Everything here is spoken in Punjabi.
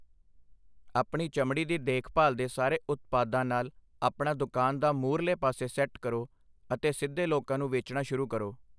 ਆਪਣੀ ਚਮੜੀ ਦੀ ਦੇਖਭਾਲ ਦੇ ਸਾਰੇ ਉਤਪਾਦਾਂ ਨਾਲ ਆਪਣਾ ਦੁਕਾਨ ਦਾ ਮੂਹਰਲੇ ਪਾਸੇ ਸੈੱਟ ਕਰੋ ਅਤੇ ਸਿੱਧੇ ਲੋਕਾਂ ਨੂੰ ਵੇਚਣਾ ਸ਼ੁਰੂ ਕਰੋ।